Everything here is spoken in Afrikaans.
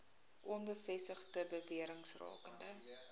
onbevestigde bewerings rakende